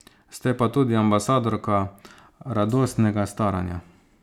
Ste pa tudi ambasadorka radostnega staranja.